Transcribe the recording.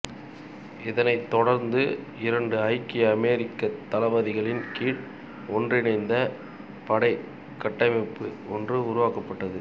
இதனைத் தொடர்ந்து இரண்டு ஐக்கிய அமெரிக்கத் தளபதிகளின் கீழ் ஒன்றிணைந்த படைக் கட்டமைப்பு ஒன்று உருவாக்கப்பட்டது